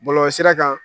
Bɔlɔlɔsira kan